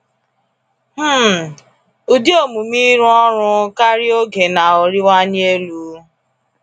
um Ụdị omume ịrụ ọrụ karịa oge na-arịwanye elu.